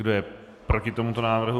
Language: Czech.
Kdo je proti tomuto návrhu?